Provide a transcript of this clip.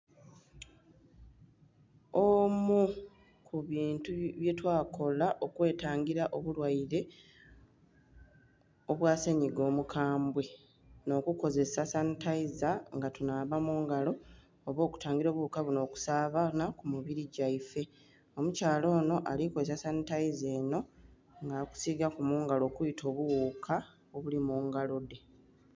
Oomu ku bintu byetwakola okwetangila obulwaire, obwa senyiga omukambwe, nh'okukozesa sanhitaiza, nga tunhaaba mu ngala oba okutangila obughuka bunho okusaabaanha ku mibiri gyaife, omukyala onho alikozesa sanhitaiza enho nga ali ku sigaku mu ngalo okwita obughuuka obuli mungalo dhe.